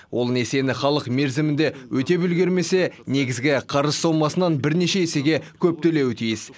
ол несиені халық мерзімінде өтеп үлгермесе негізгі қарыз сомасынан бірнеше есеге көп төлеуі тиіс